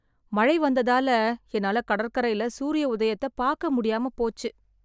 மழை வந்ததால என்னால கடற்கரைல சூரிய உதயத்த பாக்க முடியாம போச்சு